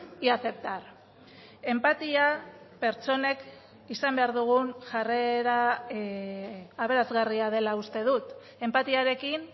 y aceptar enpatia pertsonek izan behar dugun jarrera aberasgarria dela uste dut enpatiarekin